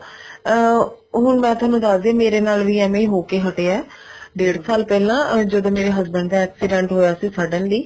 ਅਮ ਹੁਣ ਮੈਂ ਥੋਨੂੰ ਦੱਸਦੀ ਹਾਂ ਮੇਰੇ ਨਾਲ ਵੀ ਏਵੇਂ ਹੀ ਹੋ ਕੇ ਹਟਿਆ ਡੇੜ ਸਾਲ ਪਹਿਲਾਂ ਜਦੋਂ ਮੇਰੇ husband ਦਾ accident ਹੋਇਆ ਸੀ suddenly